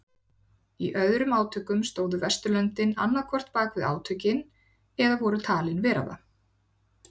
Í öðrum átökum stóðu Vesturlöndin annað hvort bakvið átökin eða voru talin vera það.